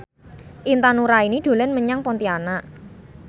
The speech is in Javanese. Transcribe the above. Intan Nuraini dolan menyang Pontianak